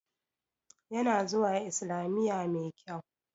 Ya na zuwa islamiya mai kyau